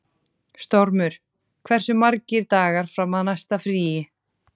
Stormur, hversu margir dagar fram að næsta fríi?